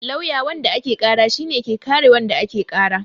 Lawyer wanda ake ƙara shi ne ke kare wanda ake ƙara